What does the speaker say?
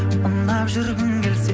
ұнап жүргің келсе